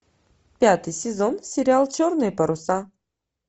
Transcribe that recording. пятый сезон сериал черные паруса